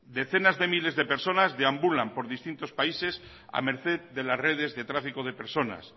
decenas de miles de personas deambulan por distintos países a merced de las redes de tráfico de personas